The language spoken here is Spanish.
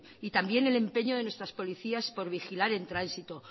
y también el empeño de nuestras policías por vigilar en transito